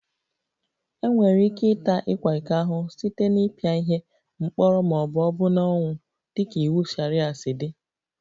Enwere ike ịta ịkwa iko ahụhụ site na ịpị ihe, mkpọrọ ma ọ bụ ọbụna ọnwụ dịka iwu sharia si dị